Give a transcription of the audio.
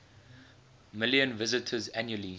million visitors annually